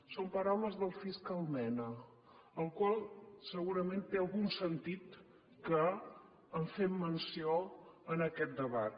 són paraules del fiscal mena al qual segurament té algun sentit que en fem menció en aquest debat